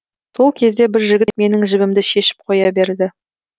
сол кезде бір жігіт менің жібімді шешіп қоя берді